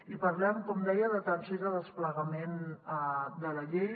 i parlem com deia d’atenció i de desplegament de la llei